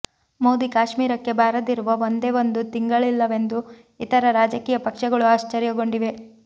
ಮೋದಿ ಕಾಶ್ಮೀರಕ್ಕೆ ಬಾರದಿರುವ ಒಂದೇ ಒಂದು ತಿಂಗಳಿಲ್ಲವೆಂದು ಇತರ ರಾಜಕೀಯ ಪಕ್ಷಗಳು ಆಶ್ಚರ್ಯಗೊಂಡಿವೆ